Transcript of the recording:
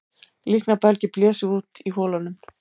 Líknarbelgir blésu út í holunum